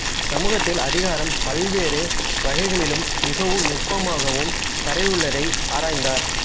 சமூகத்தில் அதிகாரம் பல்வேறு வகைகளிலும் மிகவும் நுட்பமாகவும் பரவியுள்ளதை ஆராய்ந்தார்